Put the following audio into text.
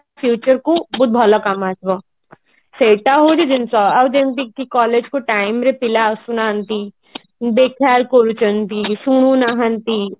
future କୁ ବି ବହୁତ ଭଲ କାମ ଆସିବ ସେଟା ହଉଛି ଜିନିଷ ଆଉ ଯେମତି କି collage କୁ time ରେ ପିଲା ଆସୁନାହାନ୍ତି ବେଖାୟାଲ କରୁଛନ୍ତି ଶୁଣୁ ନାହାନ୍ତି